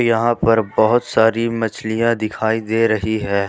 यहां पर बहुत सारी मछलियां दिखाई दे रही है।